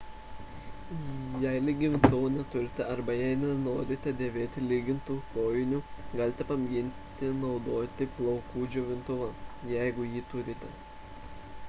jei lygintuvo neturite arba jei nenorite dėvėti lygintų kojinių galite pamėginti naudoti plaukų džiovintuvą jeigu jį turite